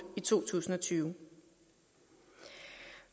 i to tusind og tyve